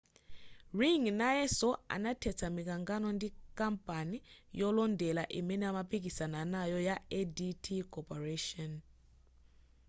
ring nayeso anathetsa mikangano ndi kampani yolondera imene amapikisana nayo ya adt corporation